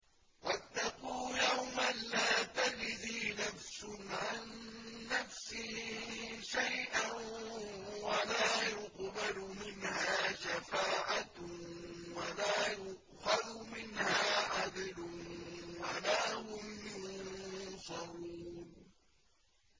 وَاتَّقُوا يَوْمًا لَّا تَجْزِي نَفْسٌ عَن نَّفْسٍ شَيْئًا وَلَا يُقْبَلُ مِنْهَا شَفَاعَةٌ وَلَا يُؤْخَذُ مِنْهَا عَدْلٌ وَلَا هُمْ يُنصَرُونَ